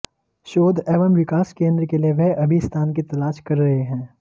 शोध एवं विकास केंद्र के लिए वह अभी स्थान की तलाश कर रहे हैं